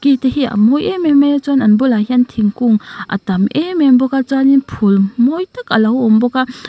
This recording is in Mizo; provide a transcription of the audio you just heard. i te hi a mawi em em maia chuan an bulah hian thingkung a tam em em bawka chuanin phul mawi tak a awm bawka a.